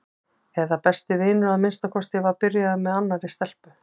eða besti vinur að minnsta kosti var byrjaður með annarri stelpu.